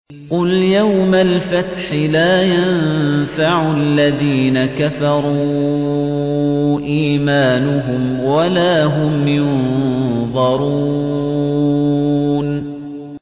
قُلْ يَوْمَ الْفَتْحِ لَا يَنفَعُ الَّذِينَ كَفَرُوا إِيمَانُهُمْ وَلَا هُمْ يُنظَرُونَ